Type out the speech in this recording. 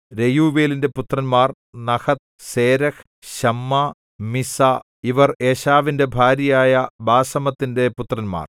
രെയൂവേലിന്‍റെ പുത്രന്മാർ Nahath Zerah Shammah Mizzah ഇവർ ഏശാവിന്‍റെ ഭാര്യയായ ബാസമത്തിന്‍റെ പുത്രന്മാർ